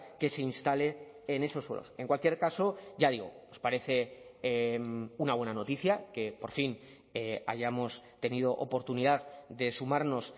que se instale en esos suelos en cualquier caso ya digo nos parece una buena noticia que por fin hayamos tenido oportunidad de sumarnos